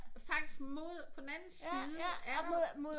Faktisk mod på den anden side oppe mod